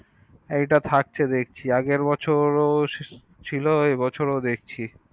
এটা থাকছে দেখছি আগের বছর ও ছিল এ বছর ও দেখছি